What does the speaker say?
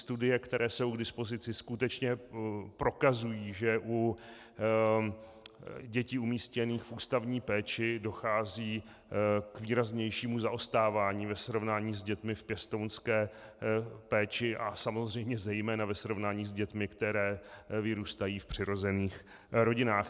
Studie, které jsou k dispozici, skutečně prokazují, že u dětí umístěných v ústavní péči dochází k výraznějšímu zaostávání ve srovnání s dětmi v pěstounské péči a samozřejmě zejména ve srovnání s dětmi, které vyrůstají v přirozených rodinách.